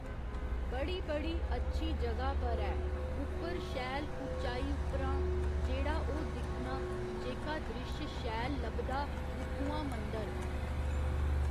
बड़ी बड़ी अच्छी जगह पर ऐ उप्पर शैल उच्चाई उप्परां जेह्ड़ा ओह् दिक्खना जेह्का दृश्य शैल लब्भदा उत्थुआं मंदर